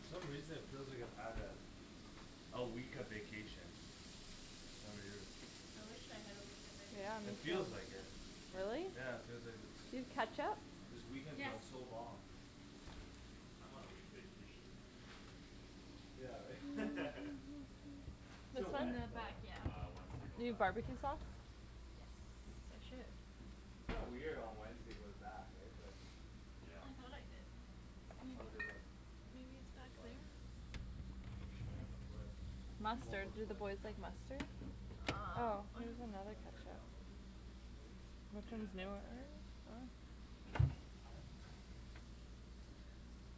For some reason it feels like I've had a A week of vacation. Kinda weird. I wish I had a week of Yeah, me It vacation. too. feels like it. Really? Yeah, it feels like a Do you have ketchup? This weekend's Yes. gone so long. I'm on a week vacation. Yeah, right? This Till In one? when? the Till back, when? yeah. Uh, Wednesday go Do you back to barbecue work. sauce? Wednesday. Yes, I should. Kinda weird on Wednesday go to back, right? But Yeah. I thought I did. Maybe. How'd they look? Maybe it's They look back fine, there? right? Oh, we may I have to see. flip. Do one more Mustard, do the flip or boys like something. mustard? Eh? Oh, here's You another wanna try to ketchup. download this, maybe? Which Yeah. Yeah. one's newer? Doesn't matter. Uh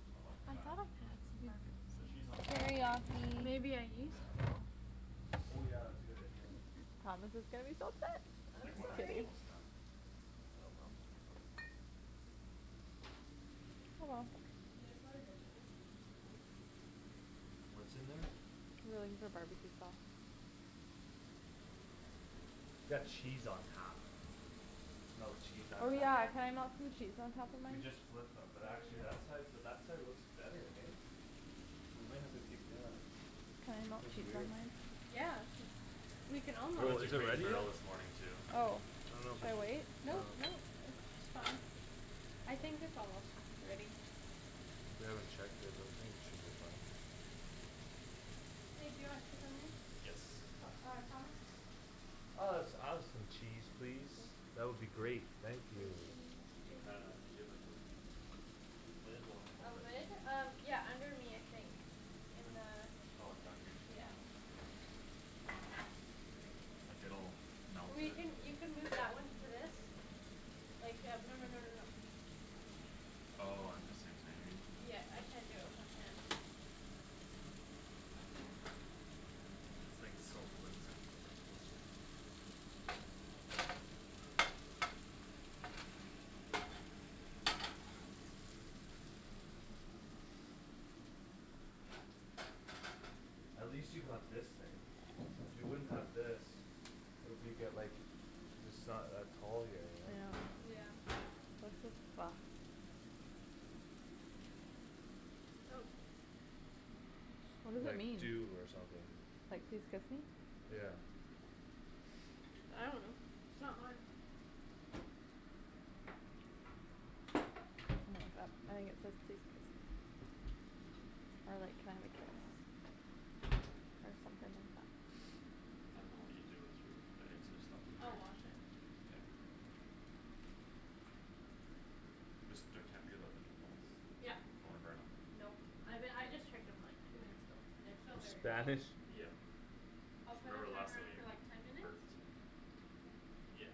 Not looking I bad. thought I had some The barbecue cheese on sauce. top will be Teriyaki good too. Maybe I It'll Yeah. melt used it it. all. Oh yeah, that's a good idea. Thomas is gonna be so upset. I'm Like once Just it's sorry. kidding. almost done. Oh well. Oh, well. It is what it is, I guess. What's in there? We were looking for barbecue sauce. Got cheese on top. Melt cheese on Oh, Oh, top. yeah, yeah. can I melt some cheese on top of We mine? just flipped them. Oh But we actually that did. side, but that side looks better, hey? We might have to keep, yeah. Can I melt That's cheese weird. on Um mine? yeah, we can all We Well, went to is it Crate and ready yet? Barrel this morning too. Oh, I dunno if we should I should, wait? I Nope, dunno nope, it's fine. I think it's almost ready. We haven't checked it but I think it should be fine. Babe, do you want cheese on yours? Yes. P- uh Thomas? Uh let's add some cheese, please. That would be great, thank Some you. cheese, We kinda, please. do you have like those Lid will A help it. lid? Um, yeah, under me I think. In Un- oh, in down here? the, yeah. Like, it'll melt We it. can, you can move that one to this. Like, yeah, no no no no no. Oh, um the same time, you mean? Yeah, I can't do it with one hand. This thing's so flimsy. That's good. At least you got this thing. If you wouldn't have this It'll be get, like, just not that tall here, you know? Yeah. Yeah. This is fucked. What does it Like mean? dew or something. Like, please kiss me? Yeah. I dunno, it's not mine. I think it says please kiss me. Or like, can I have a kiss? Or something like that. I didn't know what you I dunno. do with your bags. I just left it I'll there. wash it. Okay. Just the, can't be without the meatballs. Yup. Don't wanna burn 'em. Nope, I be- I just checked them, like, two minutes ago. They're still very raw. Spanish? Yeah. I'll put a Remember last timer time on for, like, ten it minutes? burnt. Yeah.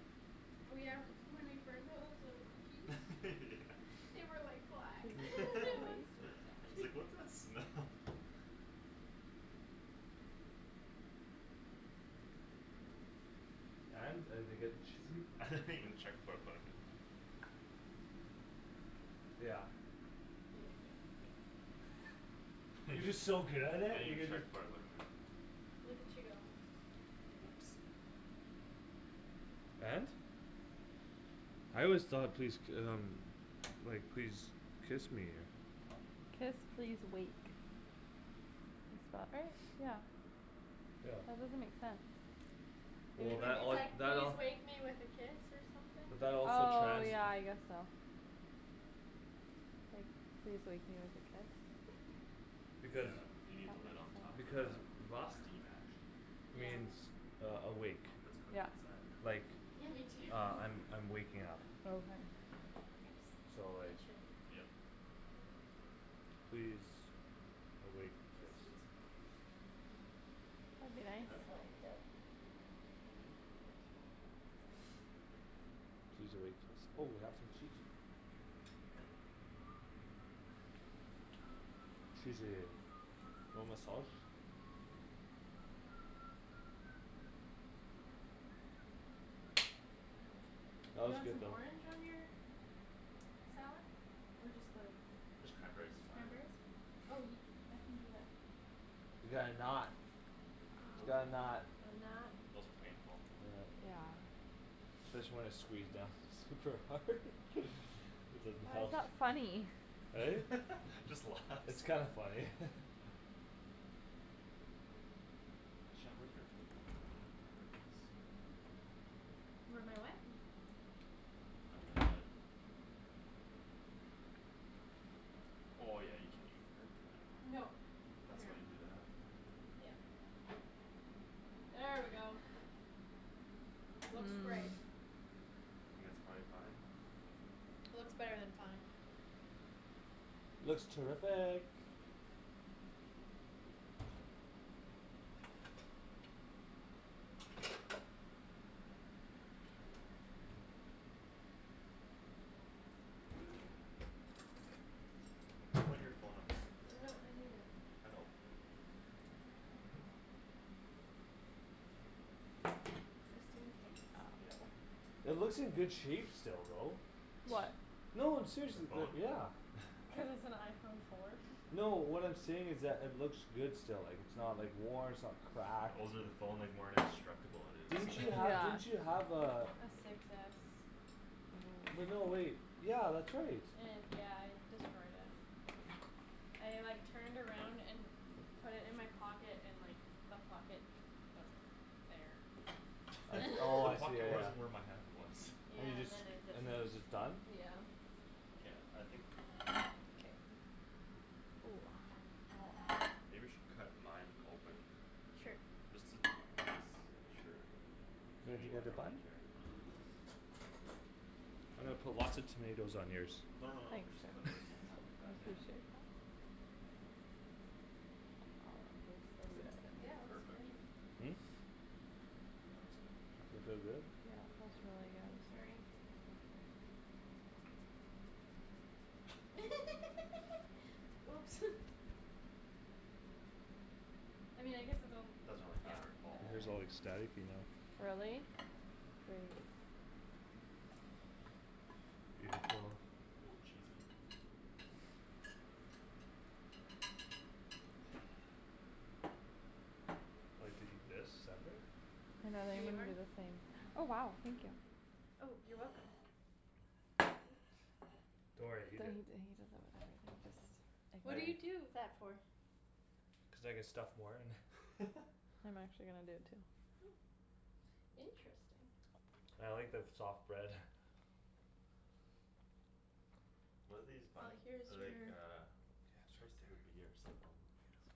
Oh, yeah, m- when we burned those little cookies Yeah. They were like black; it was so sad. It's like, "What's that smell?" And? Are they getting cheated? I didn't even check before I put it in. Yeah. Yeah, you're good. I You're didn't just so good at it, you even could, check like before I put 'em in. Look at you go. Oops. And? I always thought please d- um Like, "Please kiss me." Kiss, please, wake. Did spell it right? Yeah. Yeah. That doesn't make sense. Well, It Maybe that would say it's all, like, that "Please all wake me with a kiss" or But something? that also Oh, trans- yeah, I guess so. Like, please wake me with a kiss? Because Yeah, you need the lid on top That makes sense. for Because that steam action. Yeah. means uh awake I hope it's cooked Yeah. inside. Like, Yeah, me too. uh I'm, I'm waking up. Okay. Oops. So It like should be fine. Yep. Please awake kiss Guess it's good. That'd be nice. Huh? I love you. Imperfect. Please awake kiss. Oh we got some cheese here. Cheesy. You want my sauce? That You was want good some though. orange on your salad? Or just the, just Just cranberries is fine. cranberries? Oh, I can do that. We got a knot. We got a knot. A I'm not knot. Wasn't painful. Yeah. Said she wanted to squeeze down. Super hard? It doesn't Why help. is that funny? Eh? Just It's laughs. kinda funny. Where my what? I've been hit. Oh, yeah, you can even girth that. No, That's here, why you do that. yeah. There we go. Looks great. I think that's prolly fine. Looks better than fine. Looks terrific. Put your phone up top there. No, I need it. I know. Just in case. Yeah. It looks in good shape still though. What? No, I'm seriously, The they're, phone? yeah. Cuz it's an iPhone four. No, what I'm saying is that it looks good still, like, it's not, like, worn, it's not cracked The older the phone, like, more indestructible it Didn't is. you have, Yeah. didn't Yeah. you have uh A Six S. But no, wait, yeah, that's right. Yeah, I destroyed it. I, like, turned around and put it in my pocket and, like, the pocket wasn't there. I, oh, The I see, yeah, pocket yeah. wasn't where my hand was. And you Yeah, and just, then it just, and then it was just done? yeah. Yeah, I think K. K. Maybe we should cut mine open. Sure. Just to be s- sure. You got Anywhere, your like, I bun? don't care. I'm gonna put lots of tomatoes on yours. No, no, no, we'll just Thanks. cut it, like, in half like I that, yeah. appreciate it. That feels Good? so good. Yeah, looks great. Perfect. Yeah, that looks good to me. That feel good? Yeah, it feels really I'm good. sorry. Oops. I mean I guess it's on, Doesn't really yeah. matter at Your all. hair's all like staticy now. Really? Great. Beautiful. Oh, cheesy. I like to eat this separate. And then Here I'm you gonna are. do the same. Oh wow, thank you. Oh, you're welcome Don't worry, He eat does it. it like What that. do you I Just ignore him. do that for? Cuz I can stuff more in. I'm actually gonna do it too. Interesting. I like the f- soft bread. What are these Well, buns? here's They're like your uh Starts with a B or something.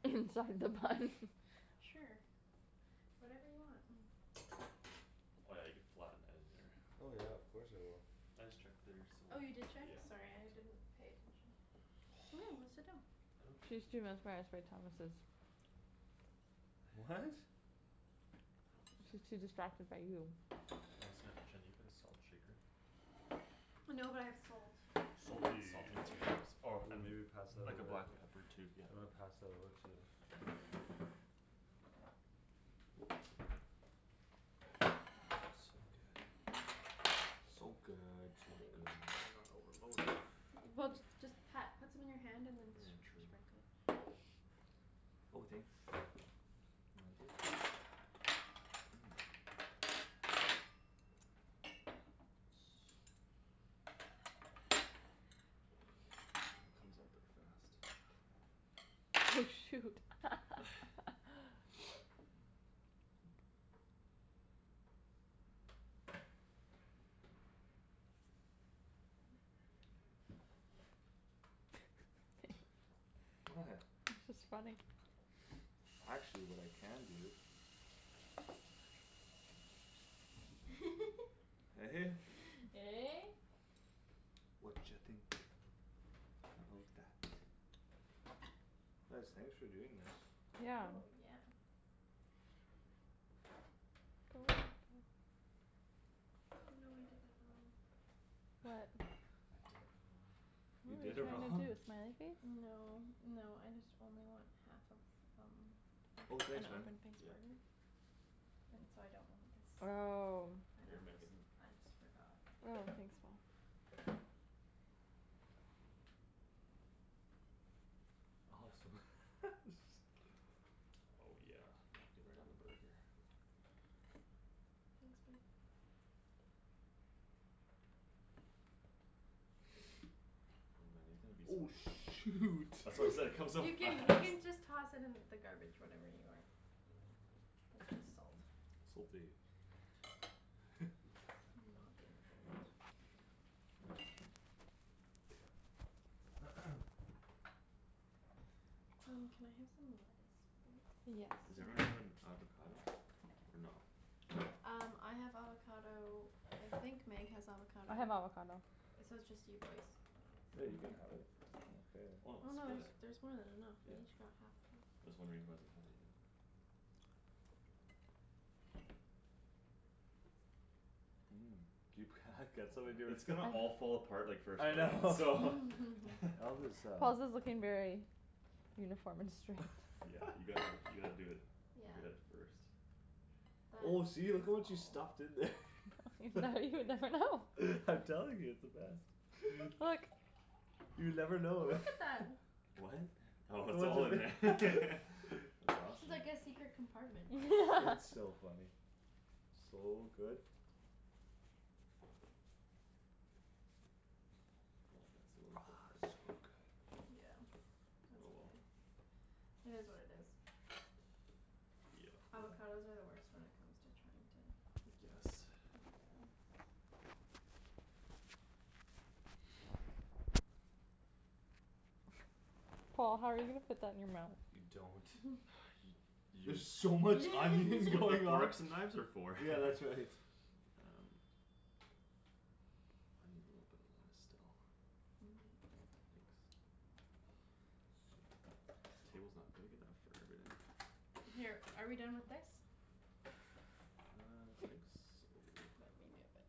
Inside the bun. Sure, whatever you want. Oh, yeah, you could flatten that in there. Oh yeah, of course I will. I just checked theirs so, Oh, you did check? yeah. Sorry, I didn't pay attention. Go sit down. She's too mesmerized by Thomas's. What? She's too distracted by you. Oh, snap, Shan, do you have a salt shaker? No, but I have salt. Salty. Salt containers or I Ooh, mean, maybe pass that like, a over. black pepper tube, You yeah. wanna pass that over to So good, so Oh, good. better not overload it. Well, just pat, put some in your hand and then True. sprinkle it. Oh, thanks. Put it on there. Here comes all the frost. Oh, shoot. What? It's just funny. Actually, what I can do Eh? Eh? Watcha think about that? Guys, thanks for doing this. Yeah. Oh, yeah. Go in. Oh no, I did that wrong. What? I did it You What were you did it wrong. trying wrong? to do, a smiley face? No, no, I just only want half of some. Oh An thanks, man. open face Yeah. burger? And so I don't want this. Oh And Here, then just, Megan. I just forgot. Oh, thanks, Paul. I hope Awesome. so. Oh, yeah, melt it right on the burger. Thanks, babe. Oh, man, there's gonna be Oh, some shoot. That's what I'm saying, comes off You fast. can, you can just toss it in the garbage whatever you aren't using. It's just salt. Salty. Not the end of the world. Um, can I have some lettuce, please? Yes. Is everyone having avocado? Or no? No? Um, I have avocado. I think Meg has avocado. I have avocado. It's, so it's just you boys. Yeah, you can have it. I don't Why care. Oh not no, split there's, it? there's more than enough Yeah. we each got half though. Just wondering who hasn't had it yet. You It's gonna all fall apart, like, first I bite, so. know. I'll just um Paul's is looking very uniform and straight. Yeah, you gotta, you gotta do it Yeah. good at first. Oh, That see, look at is what you Paul. stuffed in there. Now you would never know. I'm telling you, it's the best. You never know. Look at that. What? Look Oh it's at all in there. what ju- That's awesome. It's like a secret compartment. It's so funny. So good. Oh, yeah, it's a little bit hard still. Yeah, that's Oh, well. okay. It is what it is. Yeah. Avocados are the worst when it comes to trying to I guess. Yeah. Paul, how are you gonna fit that in your mouth? You You don't. don't. Y- You There's so much It's onion what the going on. forks and knives are for. Yeah, that's right. Um I need a little bit of that still. Thanks. This table's not big enough for everything. Here, are we done with this? I think so. Let me move it.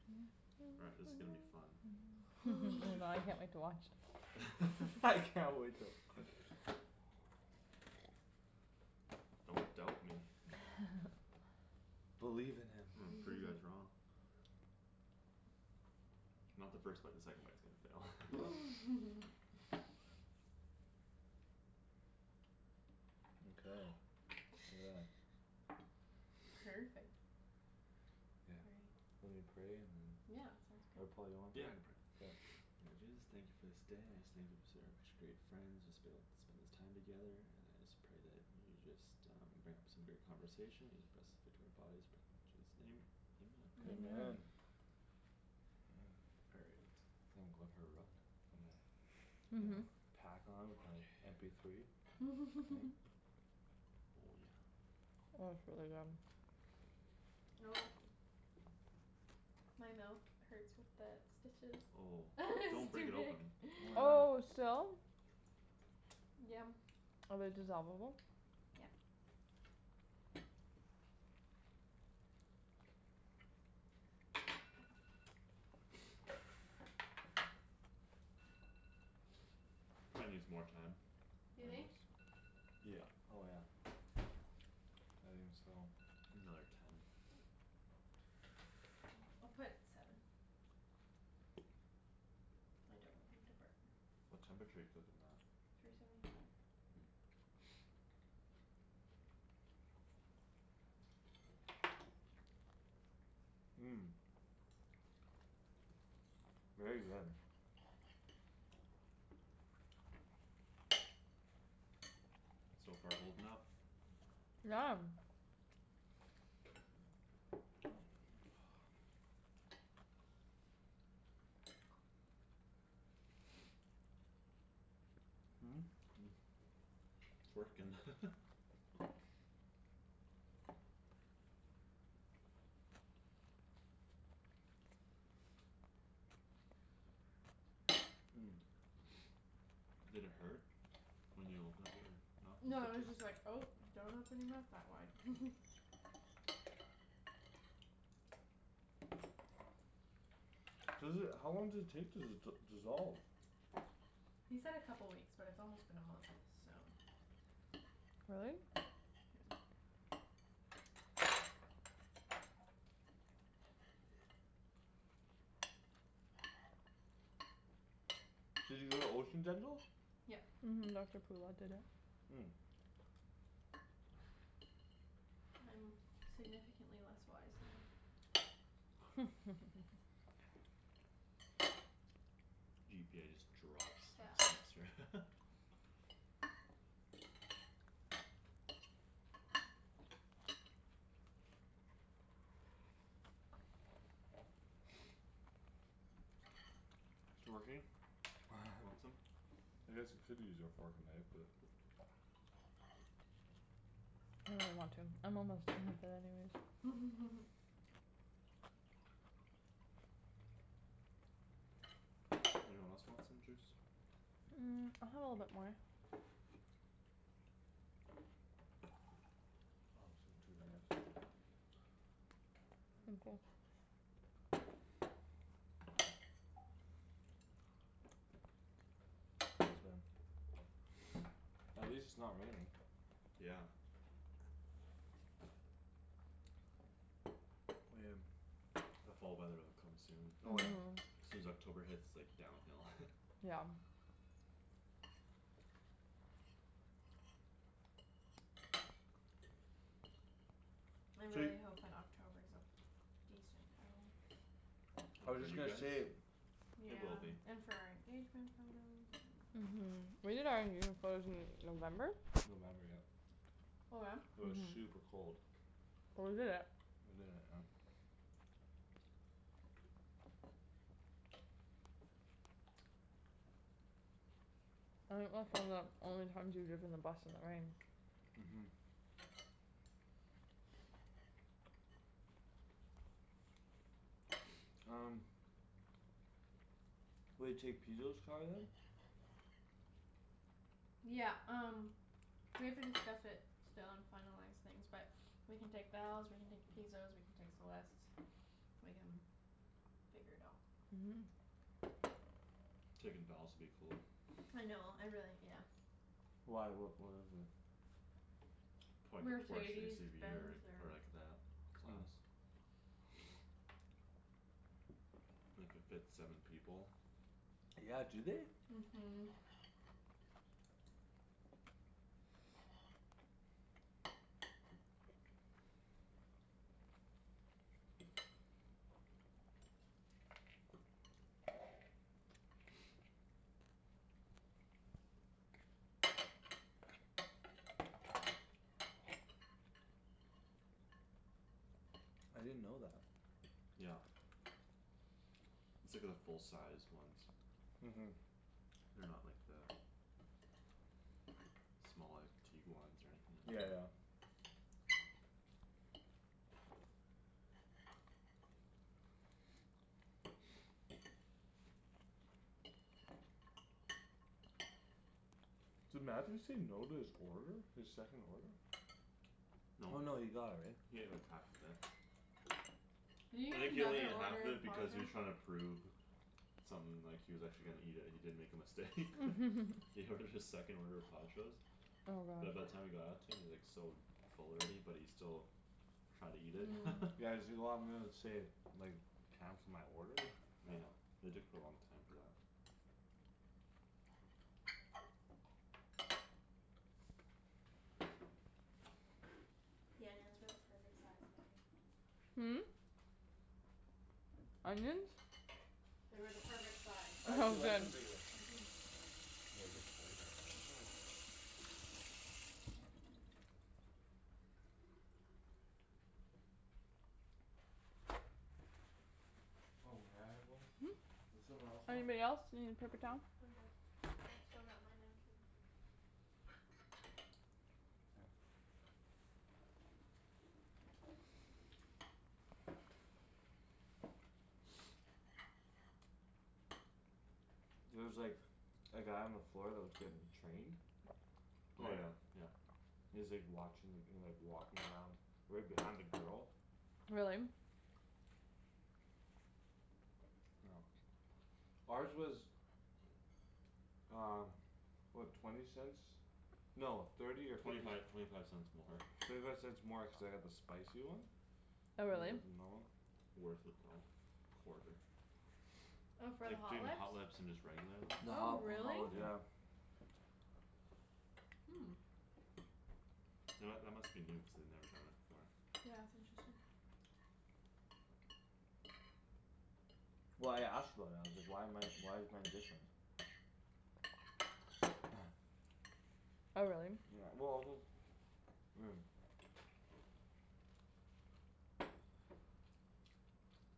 All right, this is gonna be fun. Oh god, I can't wait to watch. I can't wait to Don't doubt me. Believe in him. I'm gonna prove you guys wrong. Not the first bite. The second bite's gonna Yeah. fail. Okay, yeah. Perfect. Perfect. Yeah, Right. are we praying and Yeah, Yeah, sounds Or great. sounds good. Paul, you wanna Yeah, pray? I can pray. K. Lord Jesus, thank you for this day, I just thank you for such great friends just Being able to spend this time together and I just pray that You just um bring up some great conversation just best fit to our bodies. Pray in Jesus' name, amen. Amen. Amen. Amen. All right. Feel like going for a run With my, you know? Pack on with my M Okay. P three. Oh, yeah. Oh, it's really good. Oh. My mouth hurts with the stitches. Oh, don't It's break too it big. open. Oh Oh, yeah. still? Yum. Are they dissolve-able? Yeah. Probably needs more time, You I think? guess. Yeah. Oh, yeah. I didn't steal one. Another ten. I'll put seven. I don't want them to burn. What temperature you cook 'em at? Three seventy five. Very good. So far holding up. Yeah. It's working. Did it hurt when you opened up your mouth? No, it The was stitches? just like, "Oh, don't open your mouth that wide." Seriously, how long does it take to d- dissolve? He said a couple weeks but it's almost been a month, so Really? Did you go to Ocean Dental? Yep. Mhm, Doctor Poola did it. I'm significantly less wise now. GPA just drops next Yeah. semester. It working? Want some? I guess you could use your fork and knife but I don't really want to. I'm almost done with that anyways. Anyone else want some juice? Mm, I'll have a little bit more. I'll have some too if you have some left. Thank you. Mhm. Thanks, man. At least it's not raining. Yeah. The fall weather'll come soon. Oh, yeah. Mhm. Soon as October hits, like, downhill. Yeah. I So you really hope that October's a decent though. I Oh, was for just you gonna guys? say It will Yeah. be. And for our engagement photos and Mhm. We did our engagement photos in November? November, yep. Oh yeah? It was Mhm. super cold. Well, we did it. We did it, yep. I think that's one of the only times we've driven the bus in the rain. Mhm. Um Will you take Pizo's car then? Yeah, um we have to discuss it still and finalize things but We can take Val's, we can take Pizo's, we can take Celeste's. We can figure it out. Mhm. Taking Val's would be cool. I know, I really, yes. Why, what, what is it? Probably could Porsche Mercedes SUV Benz or, or or like that class. It could fit seven people. Yeah, do they? Mhm. I didn't know that. Yep. It's like the full-sized ones. Mhm. They're not like the Small, like Tiguans or anything like Yeah, yeah. that. Did Matthew say no to his order? His second order? Oh, No. no, he got it, right? He had like half of it. Did he I eat think he only another needed half order of of it because he was Pajo's? trying to prove Something, like, he was actually gonna eat it and he didn't make a mistake. He ordered his second order of Pajo's. Oh But by god. the time it got out to him he was, like, so Full already but he still Tried to eat it. Yeah, he's like, "Oh, I'm gonna save, like, time for my order?" Yeah, it took a long time for that. The onions were the perfect size, Megan. Hmm? Onions? They were the perfect size. I Oh, actually like good. them bigger. Mhm. Yeah, it gets flavor in there. Mhm. Oh, may I have one? Hmm? Does someone else want? Anybody else need a I'm paper good. towel? I'm good. I still got my napkin. K. There was, like A guy on the floor that was getting Trained? Oh, Paul? yeah, yeah. He was, like, watching, like, he was, like, walking around Right behind a girl. Really? Yeah. Ours was Um, what? Twenty cents? No, thirty or Twenty fifty five, c- twenty five cents more. Thirty five cents more cuz I got the spicy one. They Oh, really? had the normal. Worth it though, quarter. Oh, for the Like Hot Jin Lips? Hot Lips and just regular lips. The Oh Oh, Hot, the really? Hot really? Lips, yeah. Yeah. Hmm. You know what? That must be new cuz they'd never done that before. Yeah, it's interesting. Well, I asked about it. I was like, "Why am I, why is mine different?" Oh, really? Yeah, well, just I mean